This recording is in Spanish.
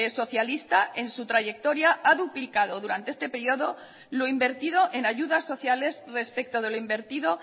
socialista en su trayectoria ha duplicado durante este periodo lo invertido en ayudas sociales respecto de lo invertido